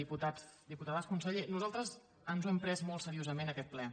diputats diputades conseller nosaltres ens hem pres molt seriosament aquest ple